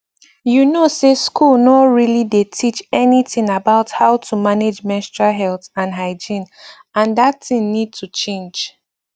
you know say school nor really dey teach anything about how to manage menstrual health and hygiene and that thing need to change